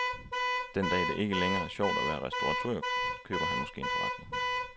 Den dag, det ikke længere er sjovt at være restauratør, køber han måske en forretning.